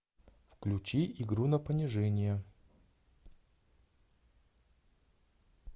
включи игру на понижение